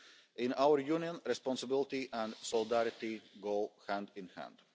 In our Union, responsibility and solidarity go hand in